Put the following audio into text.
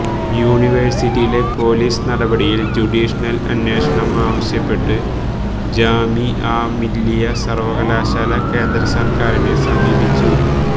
യൂണിവേഴ്സിറ്റിയിലെ പൊലീസ് നടപടിയിൽ ജുഡീഷ്യൽ അന്വേഷണം ആവശ്യപ്പെട്ട് ജാമിഅ മില്ലിയ സർവകലാശാല കേന്ദ്രസർക്കാരിനെ സമീപിച്ചു